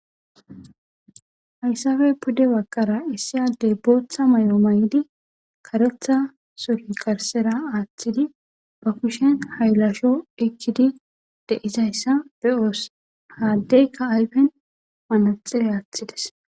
Hayssabey pudde bakara issi addey booththa may7o may7idi karetha soli karsera aaththidi bakishen haylasho ekkidi deizayssa be7oos haaddeykka ayfen wanaxire aaththides.